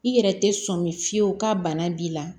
I yɛrɛ tɛ sɔn min fiyewu ka bana b'i la